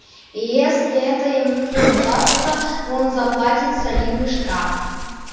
и если это ему не удастся он заплатит солидный штраф